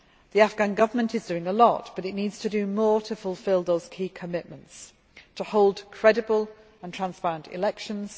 The Afghan Government is doing a lot, but it needs to do more to fulfil those key commitments to hold credible and transparent elections